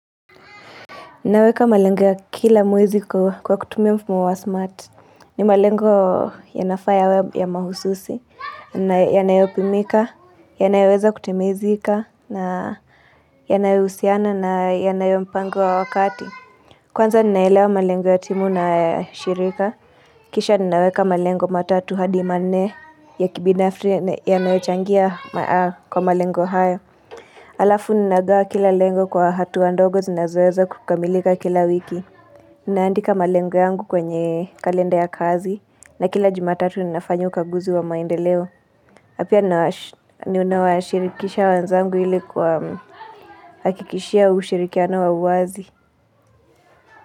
Naweka malengo ya kila mwezi kwa kutumia mfumo wa smart ni malengo yanafaa yawe pia mahususi na yanayopimika yanaweza kutimizika na yanayo husiana na yanayo mpango wa wakati Kwanza ninaelewa malengo ya timu na shirika kisha ninaweka malengo matatu hadi manne ya kibinafri yachangia kwa malengo haya Alafu ninagawa kila lengo kwa hatua ndogo zinazoeza kukamilika kila wiki Ninaandika malengo yangu kwenye kalenda ya kazi na kila jumatatu ninafanya ukaguzi wa maendeleo pia ninawashirikisha wenzangu ili kwa hakikishia ushirikiano wa uwazi.